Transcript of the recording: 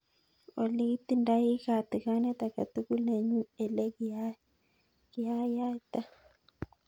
Olly itindei katikanet agetugul nenyun ele kiyayta